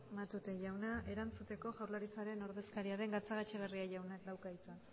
matute jauna erantzuteko jaurlaritzaren ordezkaria den gatzagaetxebarria jaunak dauka hitza